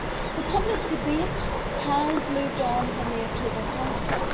The public debate has moved on from the October Council.